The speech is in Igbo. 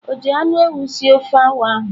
Onye ji anu ewu sie ofe awa ahu?